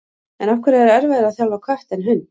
En af hverju er erfiðara að þjálfa kött en hund?